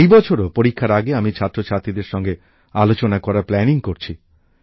এই বছরও পরীক্ষার আগে আমি ছাত্রছাত্রীদের সঙ্গে আলোচনা করার পরিকল্পনা করছি